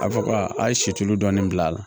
A fɔ ka a ye situlu dɔɔni bila a la